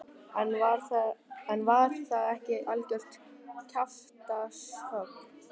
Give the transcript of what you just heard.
En var það ekki algjört kjaftshögg?